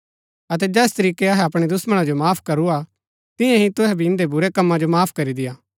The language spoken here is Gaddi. अतै जैस तरीकै अहै अपणै दुश्‍मणा जो माफ करूआ तियां ही तूहै भी इन्दै बुरै कम्मा जो माफ करी देय्आ